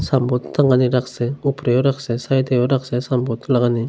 Sunboard টাঙানে রাখছে উপরের রাখছে সাইডের রাখছে সানবোড লাগানে ।